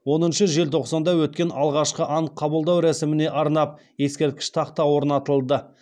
оныншы желтоқсанда өткен алғашқы ант қабылдау рәсіміне арнап ескерткіш тақта орнатылды